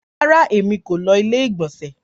Rárá, èmi kò ló ilé ìgbònsè